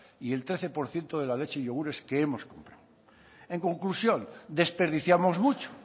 y el trece por ciento de la leche y yogures que hemos comprado en conclusión desperdiciamos mucho